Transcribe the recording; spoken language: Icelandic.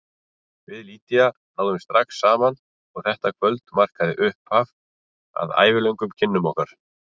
Við Lydia náðum strax saman og þetta kvöld markaði upphafið að ævilöngum kynnum okkar.